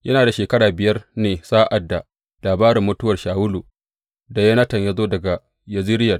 Yana da shekara biyar ne sa’ad da labarin mutuwar Shawulu da Yonatan ya zo daga Yezireyel.